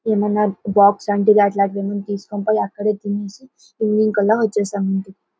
ఏమన్నా బాక్స్ అట్లాంటివన్నీ తీసుకొని పోయి అక్కడే తినేసి ఈవినింగ్ కల్లా వచ్చేసాము.